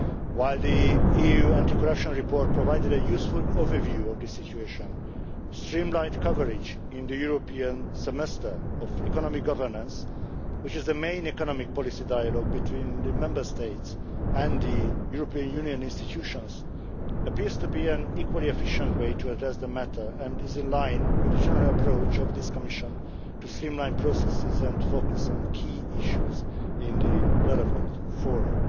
While the EU anti corruption report provided a useful overview of the situation, streamlined coverage in the European semester of economic governance, which is the main economic policy dialogue between the Member States and the European Union institutions, appears to be an equally efficient way to address the matter and is in line with the general approach of this Commission to streamline processes and focus on key issues in the relevant fora.